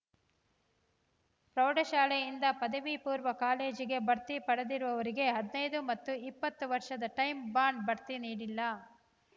ಪ್ರೌಢಶಾಲೆಯಿಂದ ಪದವಿ ಪೂರ್ವ ಕಾಲೇಜಿಗೆ ಬಡ್ತಿ ಪಡೆದಿರುವವರಿಗೆ ಹದಿನೈದು ಮತ್ತು ಇಪ್ಪತ್ತು ವರ್ಷದ ಟೈಂ ಬಾಂಡ್ ಬಡ್ತಿ ನೀಡಿಲ್ಲ